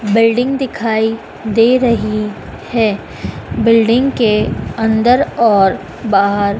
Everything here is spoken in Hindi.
बिल्डिंग दिखाई दे रही है। बिल्डिंग के अंदर और बाहर--